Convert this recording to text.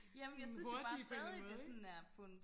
sådan hurtige på en eller anden måde ikke